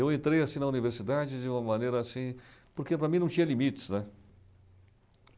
Eu entrei assim na universidade de uma maneira, assim... Porque para mim não tinha limites, né?